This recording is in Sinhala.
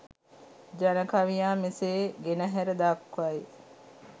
ජන කවියා මෙසේ ගෙනහැර දක්වයි.